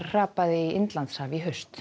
hrapaði í Indlandshaf í haust